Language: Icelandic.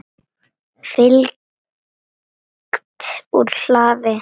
Fylgt úr hlaði